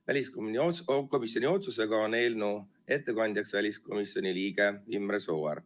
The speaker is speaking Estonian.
Väliskomisjoni otsusega on eelnõu ettekandja väliskomisjoni liige Imre Sooäär.